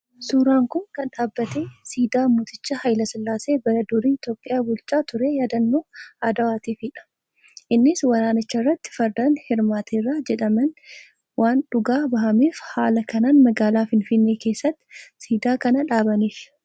Suuraan kun kan dhaabbate siidaa mooticha Haayilasillaasee bara durii Itoophiyaa bulchaa ture yaadannoo Adwaatiifidha. Innis waraanicharratti fardaan hirmaateera jedhameen waan dhugaa bahameef haala kanaan magaalaa Finfinnee keessatti siidaa kana dhaabaniif.